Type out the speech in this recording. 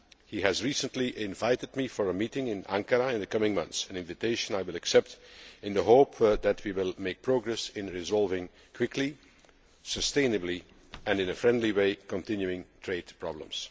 He recently invited me for a meeting in Ankara in the coming months an invitation I will accept in the hope that we will make progress in resolving quickly, sustainably and in a friendly way, the continuing trade problems.